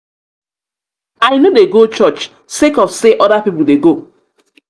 i no dey go church sake of sey other pipu dey go.